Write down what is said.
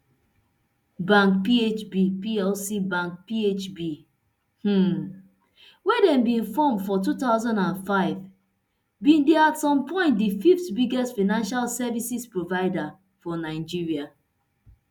bank phb plc bank phb um wey dem bin form for two thousand and five bin dey at some point di fith biggest financial services provider for nigeria